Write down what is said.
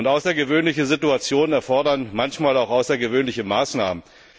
Außergewöhnliche Situationen erfordern manchmal auch außergewöhnliche Maßnahmen.